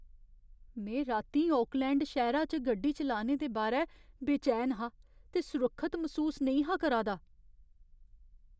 में रातीं ओकलैंड शैह्‌रे च गड्डी चलाने दे बारै बेचैन हा ते सुरक्खत मसूस नेईं हा करा दा ।